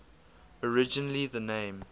originally the name